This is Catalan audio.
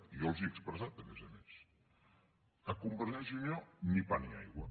i jo els ho he expressat a més a més a convergència i unió ni pa ni aigua